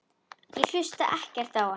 Ég hlusta ekkert á hann.